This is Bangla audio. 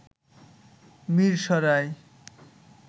মিরসরাই